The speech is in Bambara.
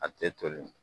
A tɛ toli